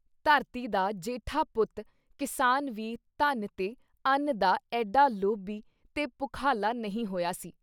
ਧਰਤੀ ਦਾ ਜੇਠਾ ਪੁੱਤ ਕਿਸਾਨ ਵੀ ਧਨ ਤੇ ਅੱਨ ਦਾ ਐਡਾ ਲੋਭੀ ਤੇ ਭੁਖਾਲਾ ਨਹੀਂ ਹੋਇਆ ਸੀ I